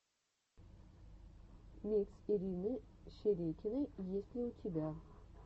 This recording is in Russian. микс ирины шерекиной есть ли у тебя